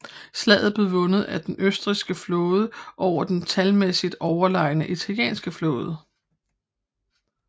Slaget blev vundet af den østrigske flåde over den talmæssigt overlegne italienske flåde